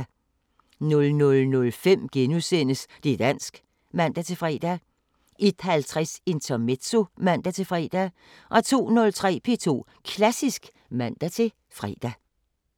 00:05: Det´ dansk *(man-fre) 01:50: Intermezzo (man-fre) 02:03: P2 Klassisk (man-fre)